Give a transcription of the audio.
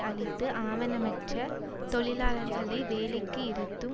அளித்து ஆவணமற்ற தொழிலாளர்களை வேலைக்கு இருத்தும்